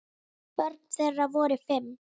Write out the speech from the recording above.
Börn þeirra voru fimm.